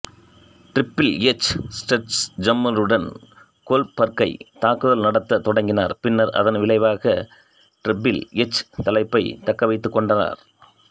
triple H ஸ்லெட்ஜ்ஹாம்மறுடன் கோல்ட்பர்க்கைத் தாக்குதல் நடத்தத் தொடங்கினார் பின்னர் அதன் விளைவாக ட்ரிபில் எச் தலைப்பைத் தக்கவைத்துக் கொண்டார்